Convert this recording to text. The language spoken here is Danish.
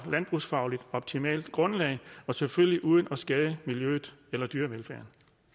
landbrugsfagligt optimalt grundlag og selvfølgelig uden at det skader miljøet eller dyrevelfærden